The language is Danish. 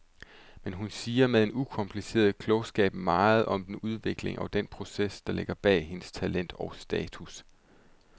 Men hun siger med en ukompliceret klogskab meget om den udvikling og den proces, der ligger bag hendes talent og status.